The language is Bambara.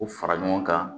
U fara ɲɔgɔn kan